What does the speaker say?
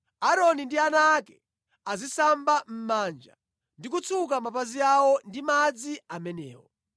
Aaroni ndi ana ake azisamba mʼmanja ndi kutsuka mapazi awo ndi madzi amenewo.